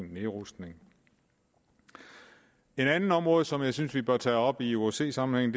nedrustning et andet område som jeg synes vi bør tage op i osce sammenhæng